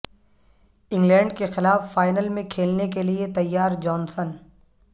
England کے خلاف final میں کھیلنے کیلئے تیار جانسن